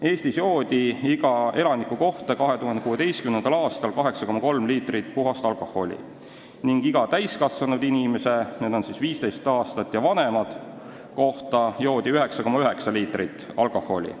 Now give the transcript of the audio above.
Eestis joodi 2016. aastal iga elaniku kohta 8,3 liitrit puhast alkoholi ning iga täiskasvanud inimese kohta, need on 15 aastat ja vanemad, joodi 9,9 liitrit alkoholi.